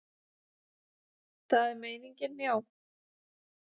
Það er meiningin, já.